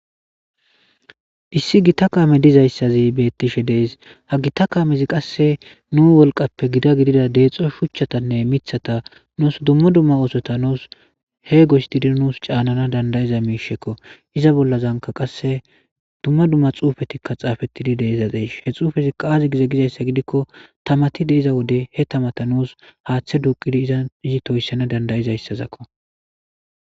Issi gita kaame dizayssazi beettishe dees ha gita kaamezi qasse nu wolqappe gida gidida deexxo shuchchatanne mithata nuus dumma dumma oosota nuus he goystidi nuus caanana dandayiza miishekko iza bollazanka qasse dumma dumma xuufetikka xaafettidi deezadees he xuufezikka aazi gize gizayssa gidikko tamati deiza wode he tamata nuus haaththe duuqidi iza izi toyssana dandayizayssazakko.